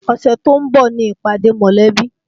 Ọ̀sẹ̀ tó ń bọ̀ ni ìpàdé mọ̀lẹ́bí